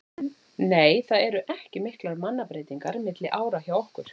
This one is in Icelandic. Nei það eru ekki miklar mannabreytingar milli ára hjá okkur.